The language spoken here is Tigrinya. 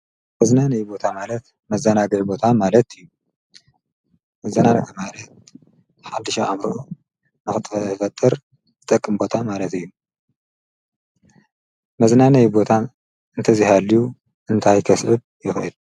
መዝና ነይ ቦታ ማለት መዘናገይ ቦታ ማለት እዩ መዘናግዕ ማለት ሓድሻ ኣምሮዑ ንኽተህፈትር ጠቕምቦታ ማለት እዩ መዝናንይ ቦታ እንተዚሃልዩ እንታይከስብብ ይኽዕል?